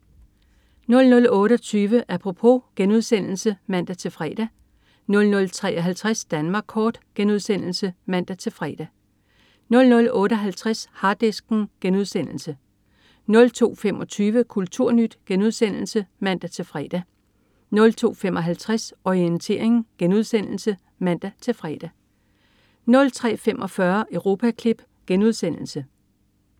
00.28 Apropos* (man-fre) 00.53 Danmark kort* (man-fre) 00.58 Harddisken* 02.25 KulturNyt* (man-fre) 02.55 Orientering* (man-fre) 03.45 Europaklip*